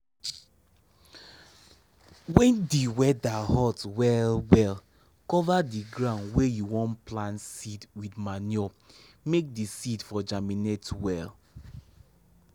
wen di weather hot well well cover the ground wey you wan plant seed wit manure make di seed for germinate well.